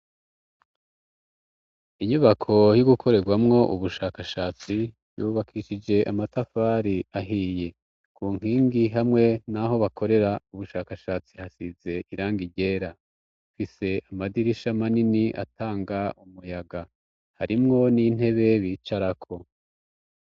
inyubako yogukorerwamwo ubushakashatsi yubakishije amatafari ahiye kunkingi hamwe n'aho bakorera ubushakashatsi hasize irangi ryera rifise amadirisha manini atanga umuyaga harimwo n'intebe bicarako